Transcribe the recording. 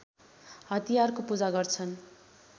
हतियारको पूजा गर्छन्